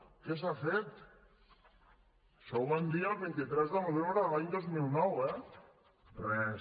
què s’ha fet això ho van dir el vint tres de novembre de l’any dos mil nou eh res